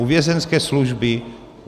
U vězeňské služby.